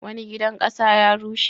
Wani gidan ƙasa ya rushe.